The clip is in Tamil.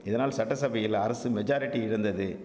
இதனால் சட்டசபையில் அரசு மெஜாரட்டி இருந்தது